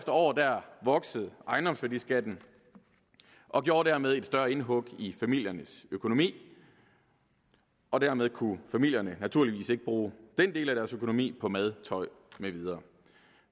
år voksede ejendomsværdiskatten og gjorde dermed et større indhug i familiernes økonomi og dermed kunne familierne naturligvis ikke bruge den del af deres økonomi på mad tøj med videre